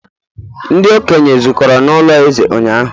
ndi-okenye zukọrọ n'ulo eze ụnyahụ